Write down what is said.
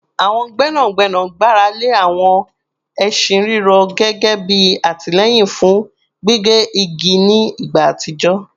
Àwọn gbẹ́nàgbẹ́nà gbára lé àwọn ẹṣin rírọ̀ gẹ́gẹ́ bí àtìlẹ́yìn fún gbígé igi ní ìgbà àtijọ́